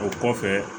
O kɔfɛ